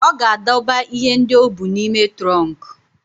Ọ ga-adọba ihe ndị o bu n'ime trọnkụ.